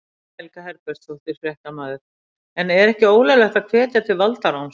Guðný Helga Herbertsdóttir, fréttamaður: En er ekki ólöglegt að hvetja til valdaráns?